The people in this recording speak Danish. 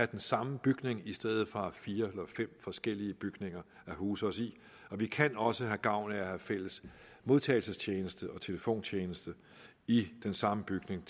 den samme bygning i stedet for at have fire eller fem forskellige bygninger at huse os i vi kan også have gavn af at have fælles modtagelsestjeneste og telefontjeneste i den samme bygning